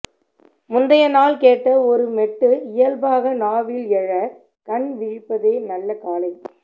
முந்தையநாள் கேட்ட ஒரு மெட்டு இயல்பாக நாவில் எழ கண்விழிப்பதே நல்ல காலை